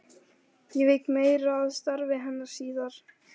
Ég vík meira að starfi hennar síðar.